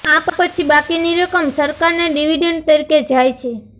આ પછી બાકીની રકમ સરકારને ડિવિડન્ડ તરીકે જાય છે